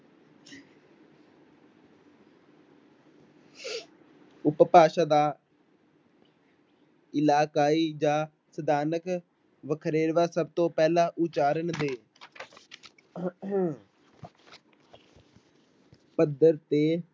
ਉਪਭਾਸ਼ਾ ਦਾ ਇਲਾਕਾਈ ਜਾਂ ਸਥਾਨਕ ਵਖਰੇਵਾ ਸਭ ਤੋਂ ਪਹਿਲਾਂ ਉਚਾਰਨ ਦੇ ਪੱਧਰ ਤੇ